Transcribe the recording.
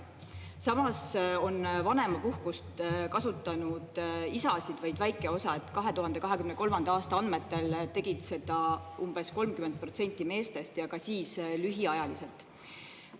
Samas on vanemapuhkust kasutanud isasid vaid väike osa: 2023. aasta andmetel tegid seda umbes 30% meestest ja ka siis lühiajaliselt.